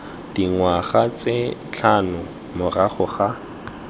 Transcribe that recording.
dingwaga tse tlhano morago ga